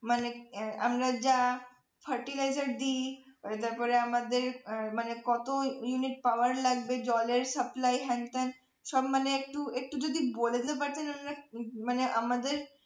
মানে আমরা যা fertilizer দি তারপরে আমাদের মানে কত unit power লাগবে জলের supply হ্যানত্যান সব মানে একটু একটু যদি বলে দিতে পারতেন মানে আমাদের